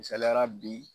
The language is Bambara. Misaliyala bi